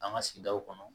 An ka sigidaw kɔnɔ